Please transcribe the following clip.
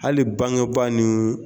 Hali bangebaa ni